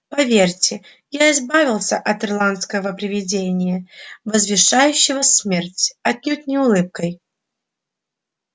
поверьте я избавился от ирландского привидения возвещающего смерть отнюдь не улыбкой